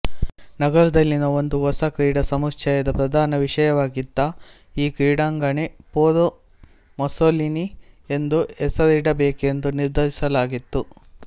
ನಗರದಲ್ಲಿನ ಒಂದು ಹೊಸ ಕ್ರೀಡಾ ಸಮುಚ್ಚಯದ ಪ್ರಧಾನ ವಿಷಯವಾಗಿದ್ದ ಈ ಕ್ರೀಡಾಂಗಣಕ್ಕೆ ಫೋರೋ ಮುಸ್ಸೋಲಿನಿ ಎಂದು ಹೆಸರಿಡಬೇಕೆಂದು ನಿರ್ಧರಿಸಲಾಗಿತ್ತು